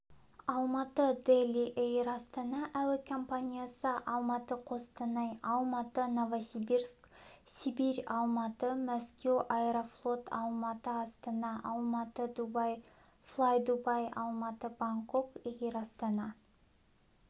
алматы-дели эйр астана әуе компаниясы алматы-қостанай алматы-новосибирск сибирь алматы-мәскеу аэрофлот алматы-астана алматы-дубай флайдубай алматы-бангкок эйр астана